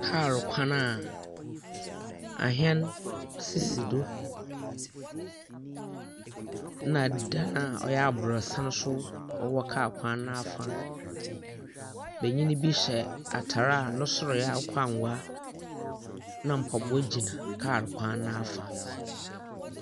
Kaal kwan a ahɛn sisi do. Na dan a ɔyɛ aborɔsan nso ɔwɔ kaa kwan nafa. Bɛnyin bi hyɛ ataare a ne soro ɛyɛ akokɔangwa na mpaboa gyina kaa kwan nafa.